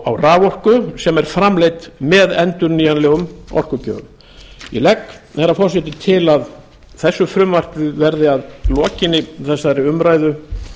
á raforku sem er framleidd með endurnýjanlegum orkugjöfum ég legg herra forseti til að þessu frumvarpi verði að lokinni þessari umræðu